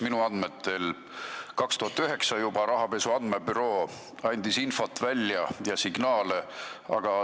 Minu andmetel andis juba 2009. aastal rahapesu andmebüroo teatud infot ja signaale.